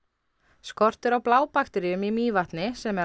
skortur á blábakteríum í Mývatni sem er